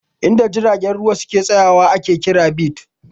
In da jiragen ruwa suke tsaya wa ake kira "berths"